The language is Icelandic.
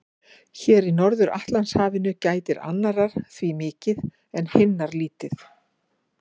Hér í Norður-Atlantshafinu gætir annarrar því mikið en hinnar lítið.